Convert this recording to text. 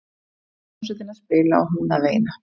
Svo fór hljómsveitin að spila og hún að veina.